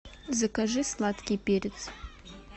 закажи сладкий перец